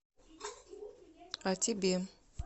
а тебе